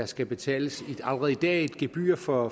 skal betales et gebyr for